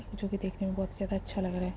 जो कि देखने में बहुत ही ज्यादा अच्छा लग रहा है।